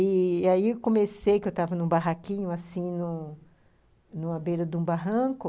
E aí... Comecei, porque eu estava em um barraquinho assim à beira de um barranco,